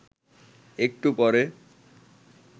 একটু পরে